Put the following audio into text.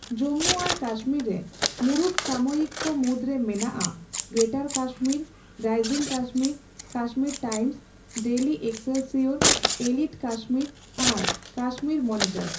ᱡᱚᱢᱵᱩ ᱟᱨ ᱠᱟᱥᱢᱤᱨ ᱨᱮ ᱢᱩᱲᱩᱫ ᱥᱟᱢᱚᱭᱤᱠᱤᱠᱚ ᱢᱩᱫᱨᱮ ᱢᱮᱱᱟᱜᱼᱟ Greater Kashmir, Rising Kashmir, Kashmir Times, Daily Excelsior, Elite Kashmir ᱟᱨ ᱠᱟᱥᱢᱤᱨ ᱢᱚᱱᱤᱴᱚᱨ ᱾